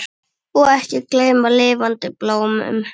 Og ekki gleyma lifandi blómum!